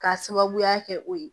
K'a sababuya kɛ o ye